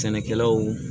Sɛnɛkɛlaw